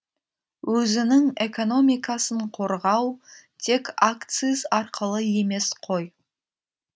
өзінің экономикасын қорғау тек акциз арқылы емес қой